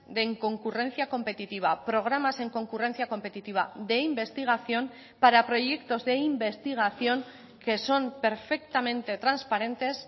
de inconcurrencia competitiva programas en concurrencia competitiva de investigación para proyectos de investigación que son perfectamente transparentes